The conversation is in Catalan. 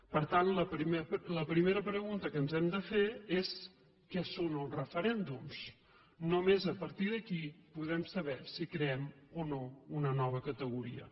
per tant la primera pregunta que ens hem de fer és què són els referèndums només a partir d’aquí podrem saber si creem o no una nova categoria